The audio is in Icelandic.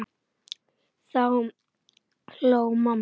Þá hló mamma.